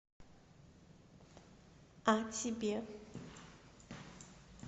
а себе